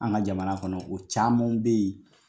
An ka jamana kɔnɔ ko camanw be ye